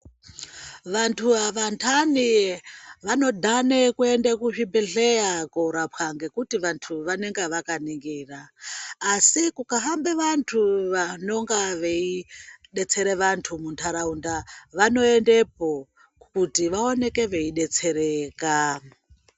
Vantu avantani vanodhane kuende kuzvibhedhleya koorapwa nekuti vantu vanenge vakaningira. Asi kukahambe vantu vanonga veidetsere vantu mundaraunda, vanoendepo kuti vaoneke veidetsereka.